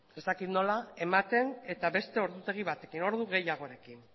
ez dakit nola ematen eta beste ordutegi batekin ordu gehiagorekin